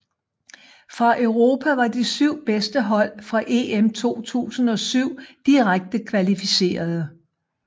Fra Europa var de syv bedste hold fra EM 2007 direkte kvalificerede